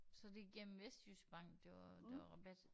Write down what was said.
Så det igennem Vestejyske Bank det var der var rabat